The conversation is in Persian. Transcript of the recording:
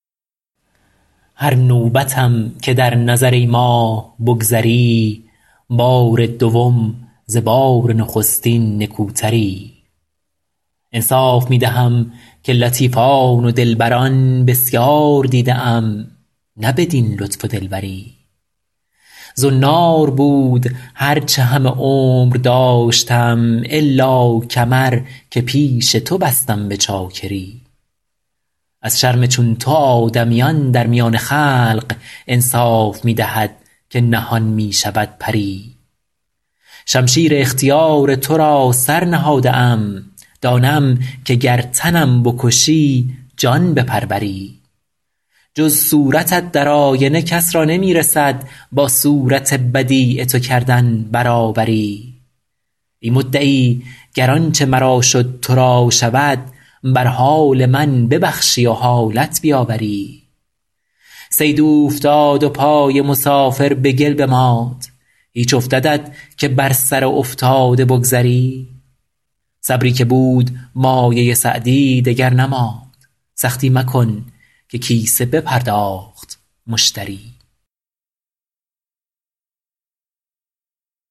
هر نوبتم که در نظر ای ماه بگذری بار دوم ز بار نخستین نکوتری انصاف می دهم که لطیفان و دلبران بسیار دیده ام نه بدین لطف و دلبری زنار بود هر چه همه عمر داشتم الا کمر که پیش تو بستم به چاکری از شرم چون تو آدمیان در میان خلق انصاف می دهد که نهان می شود پری شمشیر اختیار تو را سر نهاده ام دانم که گر تنم بکشی جان بپروری جز صورتت در آینه کس را نمی رسد با صورت بدیع تو کردن برابری ای مدعی گر آنچه مرا شد تو را شود بر حال من ببخشی و حالت بیاوری صید اوفتاد و پای مسافر به گل بماند هیچ افتدت که بر سر افتاده بگذری صبری که بود مایه سعدی دگر نماند سختی مکن که کیسه بپرداخت مشتری